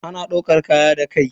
Ana daukar kaya da kai.